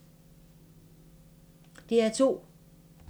DR2